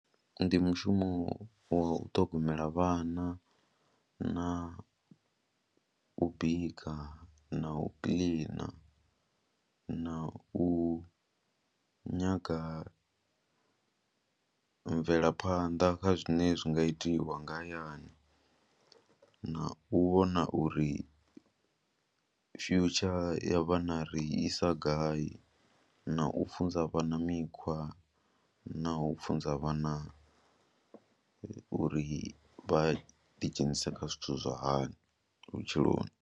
Ndi mushumo wa u ṱhogomela vhana na u bika na u kiḽina na u nyaga mvelaphanḓa kha zwine zwi nga itiwa nga hayani na u vhona uri future ya vhana ri isa gai na u funza vhana mikhwa na u funza vhana uri vha ḓidzhenise kha zwithu zwa hani vhutshiloni.